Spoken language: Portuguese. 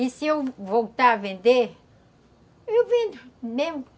E se eu voltar a vender, eu vendo, mesmo